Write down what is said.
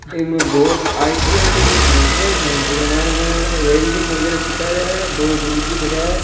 इमे बहुत आई.टी.आई. का कोई सेंटर है सेंटर के मायने वैल्डिंग वगेरह सिखा रेया है दो गुरूजी खड़या है।